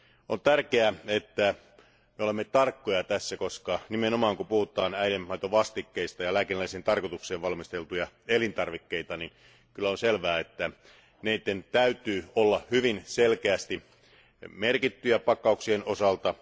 On tärkeää, että me olemme tarkkoja tässä koska nimenomaan, kun puhutaan äidinmaidonvastikkeista ja lääkinnällisiin tarkoituksiin valmisteltuista elintarvikkeista, niin kyllä on selvää, että niiden täytyy olla hyvin selkeästi merkittyjä pakkauksien osalta.